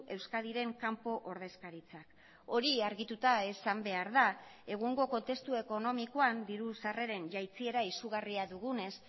euskadiren kanpo ordezkaritzak hori argituta esan behar da egungo kontestu ekonomikoan diru sarreren jaitsiera izugarria dugunez